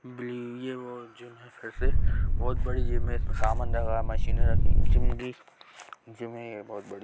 bill ये वो gym है से बहुत बड़ी जिम है इसमे सामान रखा मशीनें रखी जिम भी जिम ही है ये बहुत बड़ी--